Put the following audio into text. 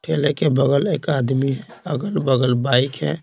ठेले के बगल एक आदमी अगल-बगल बाइक है।